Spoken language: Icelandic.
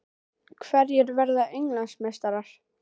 Hverjir verða Englandsmeistarar?